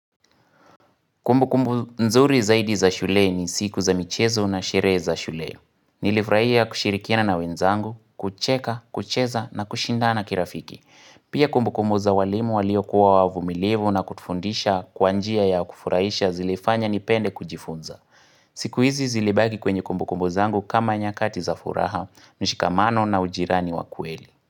Kumbukumbu nzuri zaidi za shuleni siku za michezo na sheree za shule. Nilifraia kushirikiana na wenzangu, kucheka, kucheza na kushindana kirafiki. Pia kumbukumbu za walimu waliokuwa wavumilivu na kutufundisha kwa njia ya kufuraisha zilifanya nipende kujifunza. Siku hizi zilibaki kwenye kumbukumbu zangu kama nyakati za furaha, mshikamano na ujirani wa kweli.